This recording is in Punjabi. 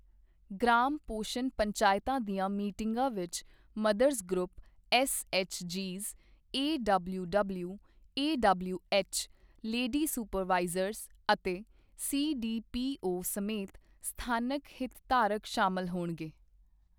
ਗ੍ਰਾਮ ਪੋਸ਼ਣ ਪੰਚਾਇਤਾਂ ਦੀਆਂ ਮੀਟਿੰਗਾਂ ਵਿੱਚ ਮਦਰਜ਼ ਗਰੁੱਪ, ਐੱਸਐੱਚਜੀਜ਼, ਏਡਬਲਿਊਡਬਲਿਊ, ਏਡਬਲਿਊਐੱਚ, ਲੇਡੀ ਸੁਪਰਵਾਈਜ਼ਰ ਅਤੇ ਸੀਡੀਪੀਓ ਸਮੇਤ ਸਥਾਨਕ ਹਿਤਧਾਰਕ ਸ਼ਾਮਲ ਹੋਣਗੇ।